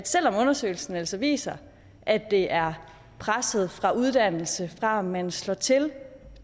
selv om undersøgelsen altså viser at det er presset fra uddannelse og om man slår til